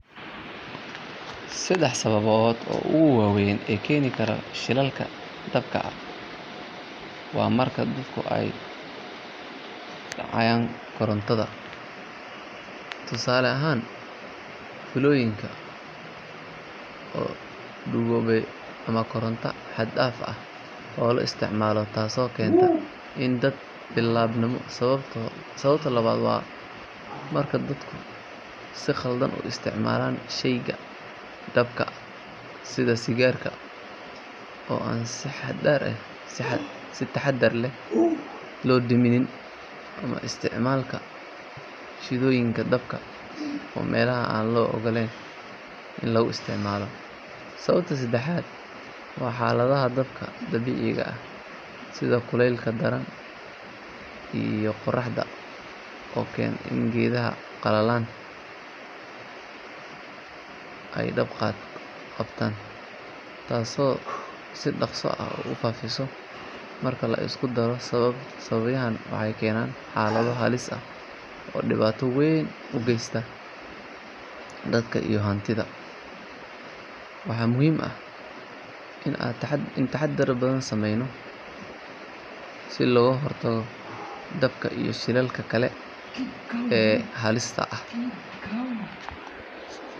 Saddex sababood oo ugu waaweyn ee keena shilalka dabka waa marka dadku ay dayacaan korontada, tusaale ahaan fiilooyinka oo duugoobay ama koronto xad dhaaf ah oo la isticmaalo taasoo keenta in dab bilaabmo. Sababta labaad waa marka dadku si khaldan u isticmaalaan shayga dabka sida sigaarka oo aan si taxadar leh loo demin ama isticmaalka shidooyinka dabka oo meelaha aan loo ogolayn la isticmaalo. Sababta saddexaad waa xaaladaha dabka dabiiciga ah sida kuleylka daran ee qorraxda oo keena in geedaha qalalan ay dab qabtaan, taasoo si dhakhso ah u faafisa. Marka la isku daro sababahani waxay keenaan xaalado halis ah oo dhibaato weyn u geysta dadka iyo hantida. Waxaa muhiim ah in aan taxaddar badan sameyno si looga hortago dabka iyo shilalka kale ee halista ah.